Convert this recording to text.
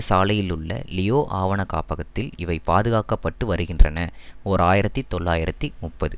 சாலையிலுள்ள Leo ஆவணக்காப்பகத்தில் இவை பாதுகாக்க பட்டு வருகின்றன ஓர் ஆயிரத்தி தொள்ளாயிரத்தி முப்பது